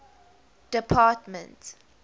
department